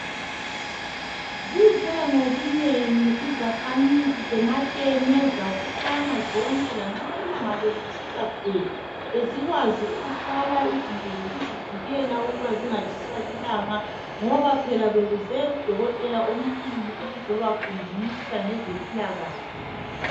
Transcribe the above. Zize ngobunengi izakhamizi zeMateme zabuthana zonke lanxa ilanga belitshisa bhe, bezikwazi ukuthola izinto zokuzivikela ukuba zingatshiswa lilanga, ngoba phela bekuze udokotela omkhulu ukuzoba fundisa ngezempilakahle.